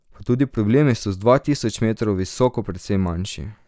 Pa tudi problemi so z dva tisoč metrov visoko precej manjši.